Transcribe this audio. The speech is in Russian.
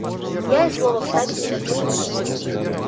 я и слова вставить не могу